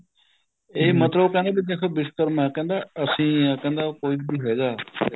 ਇਹ ਮਤਲਬ ਕਹਿੰਦੇ ਵੀ ਦੇਖੋ ਵਿਸ਼ਕਰਮਾ ਕਹਿੰਦਾ ਅਸੀਂ ਹੀ ਹਾ ਕਹਿੰਦਾ ਕੋਈ ਵੀ ਹੈਗਾ